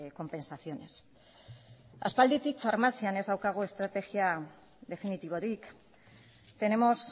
compensaciones aspalditik farmazian ez daukagu estrategia definitiborik tenemos